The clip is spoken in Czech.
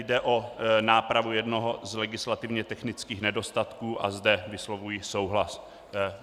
Jde o nápravu jednoho z legislativně technických nedostatků a zde vyslovuji souhlas.